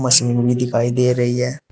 भी दिखाई दे रही है।